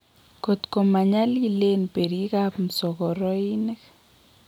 kot koma nyaliileen berikap msogoroinik